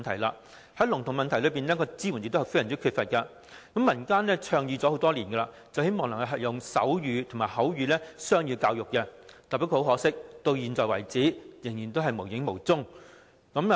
政府對聾童的支援亦相當缺乏，民間已倡議提供手語及口語雙語教育多年，不過很可惜，至今依然了無蹤影。